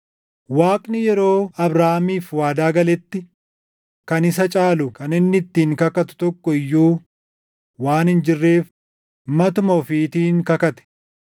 Waaqni yeroo Abrahaamiif waadaa galetti kan isa caalu kan inni ittiin kakatu tokko iyyuu waan hin jirreef matuma ofiitiin kakate.